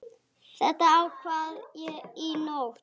Þetta ákvað ég í nótt.